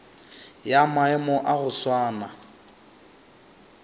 ya maemo a go swana